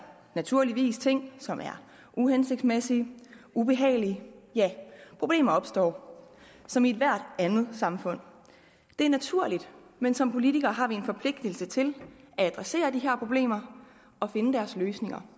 naturligvis ting som er uhensigtsmæssige og ubehagelige ja problemer opstår som i ethvert andet samfund det er naturligt men som politikere har vi en forpligtelse til at adressere de her problemer og finde løsninger